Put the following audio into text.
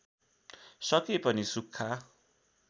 सके पनि सुख्खा